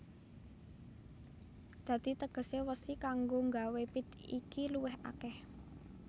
Dadi tegesé wesi kanggo nggawé pit iki luwih akèh